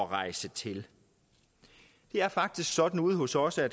rejse til det er faktisk sådan ude hos os at